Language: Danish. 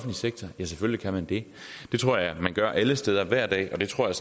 sektor ja selvfølgelig kan man det det tror jeg man gør alle steder hver dag og det tror jeg